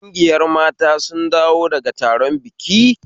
Kungiyar mata sun dawo daga taron biki